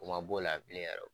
O ma b'o la bilen yɛrɛ o.